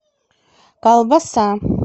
колбаса